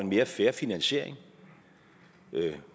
mere fair finansiering